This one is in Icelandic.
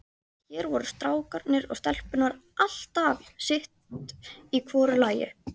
Hér voru strákarnir og stelpurnar alltaf sitt í hvoru lagi.